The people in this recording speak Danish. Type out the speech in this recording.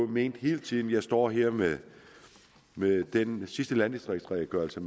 ment hele tiden jeg står her med den sidste landdistriktsredegørelse